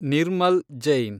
Nirmal Jain